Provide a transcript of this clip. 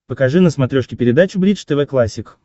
покажи на смотрешке передачу бридж тв классик